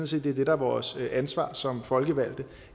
set det er det der er vores ansvar som folkevalgte